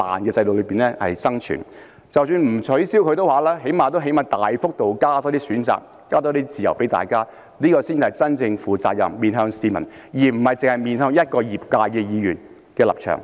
即使政府不取消強積金，但最低限度也要大幅度增加選擇和自由，這才是真正負責任、面向市民，而不單是面向一個業界的議員的立場。